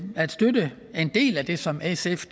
at støtte en del af det som sf